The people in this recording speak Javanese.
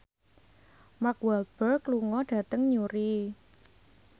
Mark Walberg lunga dhateng Newry